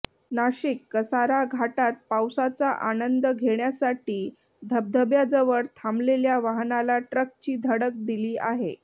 नाशिकः कसारा घाटात पावसाचा आनंद घेण्यासाठी धबधब्याजवळ थांबलेल्या वाहनाला ट्रकची धडक दिली आहे